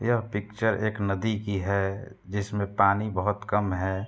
यह पिक्चर एक नदी की है जिसमें पानी बोहोत कम है।